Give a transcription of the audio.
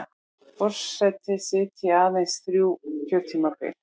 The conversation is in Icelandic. Forseti sitji aðeins þrjú kjörtímabil